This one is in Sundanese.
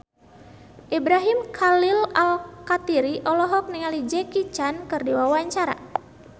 Ibrahim Khalil Alkatiri olohok ningali Jackie Chan keur diwawancara